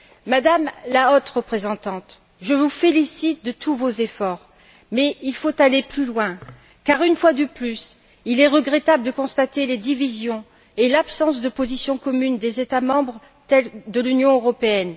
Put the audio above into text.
Madame la Haute représentante, je vous félicite de tous vos efforts, mais il faut aller plus loin, car une fois de plus, il est regrettable de constater les divisions et l'absence de position commune des États membres de l'Union européenne.